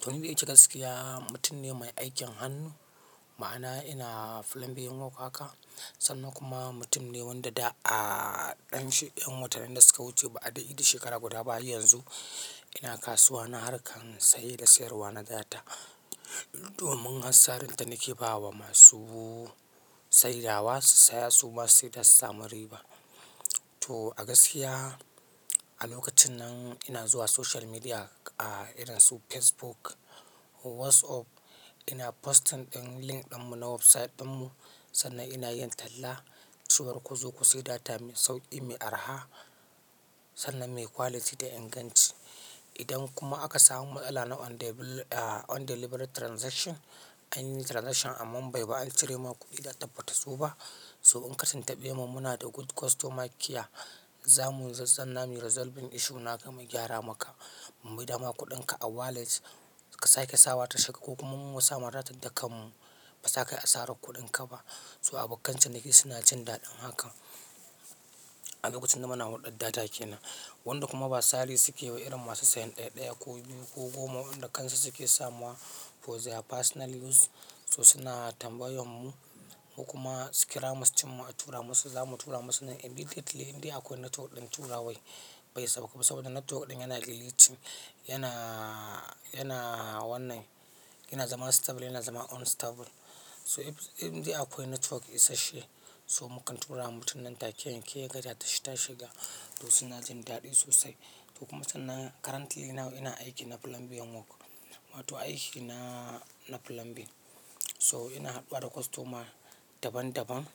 To ni dai in ce a gaskiya mutum ne mai aikin hannu, ma'ana ina plumbing work haka sannan kuma mutum ne wanda da a ɗan she-- 'yan watannin da suka wuce ba aɗai yi duk shekara guda ba yanzu. Ina kasuwa na harkan saye da sayarwa na data. Domin has sarin ta nake ba wa masu sai da wa su saya su ma su sai da su sami ri ba. To a gaskiya a lokacin nan ina zuwa social media a irin su Facebook, WhatsApp ina posting ɗin link ɗin mu na website ɗin mu sannan ina yin talla cewa ku zo ku sayi data mai sauƙi, mai araha sannan mai quality da inganci. Idan kuma aka samu matsala na undeliver undelivered transaction anyi transaction amma bai ba an cire maka kuɗi da tabbatar su ba, soɓan kasin taɓe mun muna da good customer care za mu zazzana mu resolving issue na ka mu gyara maka. Mu mai da ma kuɗin ka a wallet ka sake sawa tashiga ko kuma mu sa ma datan da kan mu ba za kayi asarar kuɗinka ba. So abokan ciniki suna jin daɗin haka. A lokacin da muna haɗdar data kenan. Wanda kuma ba sari suke yi ba irin masu sayan ɗaya ɗaya ko biyu ko goma wanda kansu suke samawa for their personal use so suna tambayan mu kuma su kira mu su ce ma a tura musu za mu tura musu nan immediately in dai akwai network ɗin tura wai. Bai sauko saboda network ɗin yana glitching yana, yana wannan yana zama stable yana zama unstable. So in dai akwai network isas she so mu kan tura wa mutum nan take yan ke gaja tashi ta shiga to suna jin daɗi sosai. To kuma sannan currently na ina aiki na plumbing work. Wato aiki na, na plumbing. So ina haɗuwa da customer daban daban.